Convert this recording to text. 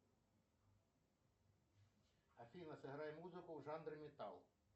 афина сыграй музыку в жанре металл